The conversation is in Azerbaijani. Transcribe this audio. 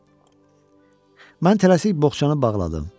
Mən tələsik boxçanı bağladım.